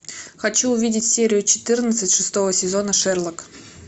хочу увидеть серию четырнадцать шестого сезона шерлок